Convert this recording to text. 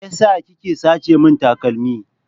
Me yasa kike sace min takalmi?